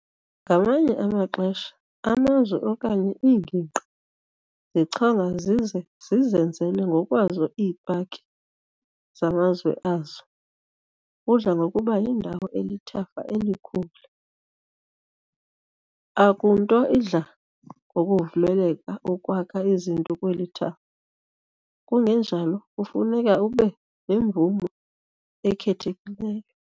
Ngamanye amaxesha, amazwe okanye iingingqi zichonga zize zizenzele ngokwazo ii-paki zamazwe azo. kudla ngokuba yindawo elithafa elikhulu. Akunto idla ngokuvumeleka ukwakha izinto kweli thafa, kungenjalo kufuneka ube nemvume ekhethekileyo.